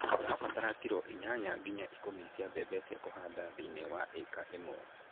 Ũrabatara kiro inyanya nginya ikũmi cia mbembe cia kũhanda thĩiniĩ wa ĩka ĩmwe.